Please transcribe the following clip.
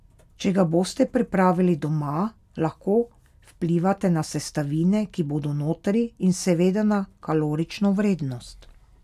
Če ga boste pripravili doma, lahko vplivate na sestavine, ki bodo notri, in seveda na kalorično vrednost.